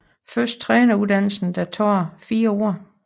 Først træneruddannelsen der tager 4 år